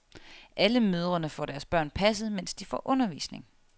Alle mødrene får deres børn passet, mens de får undervisning.